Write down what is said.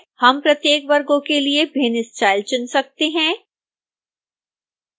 हम प्रत्येक वर्गों के लिए भिन्न स्टाइल चुन सकते हैं